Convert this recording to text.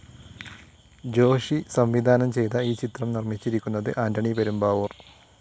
ജോഷി സംവിധാനം ചെയ്ത ഈ ചിത്രം നിർമ്മിച്ചിരിക്കുന്നത് ആന്റണി പെരുമ്പാവൂർ.